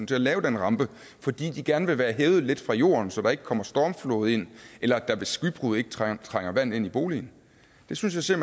til at lave den rampe fordi de gerne vil være hævet lidt fra jorden så der ikke kommer stormflod ind eller at der ved skybrud ikke trænger trænger vand ind i boligen det synes jeg